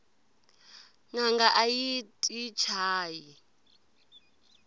nanga ayi yti chayi